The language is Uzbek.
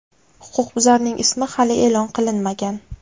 Huquqbuzarning ismi hali e’lon qilinmagan.